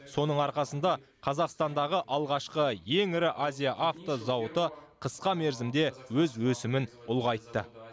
соның арқасында қазақстандағы алғашқы ең ірі азия авто зауыты қысқа мерзімде өз өсімін ұлғайтты